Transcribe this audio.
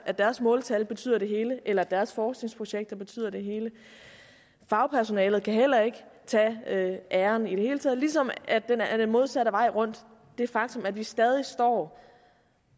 at deres måltal betyder det hele eller at deres forskningsprojekter betyder det hele fagpersonalet kan heller ikke tage æren i det hele taget ligesom det den modsatte vej rundt er et faktum at vi stadig står